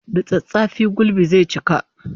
Da tsattsafi gulbi zai cika